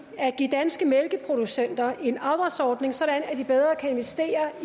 at give danske mælkeproducenter en afdragsordning så de bedre kan investere